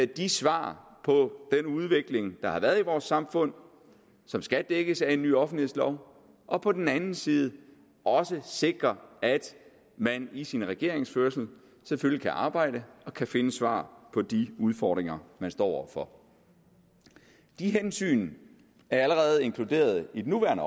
de svar på den udvikling der har været i vores samfund som skal dækkes af en ny offentlighedslov og på den anden side også at sikre at man i sin regeringsførelse selvfølgelig kan arbejde og kan finde svar på de udfordringer man står over for de hensyn er allerede inkluderet i den